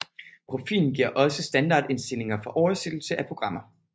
Profilen giver også standardinstillinger for oversættelse af programmer